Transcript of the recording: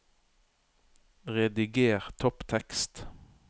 Rediger topptekst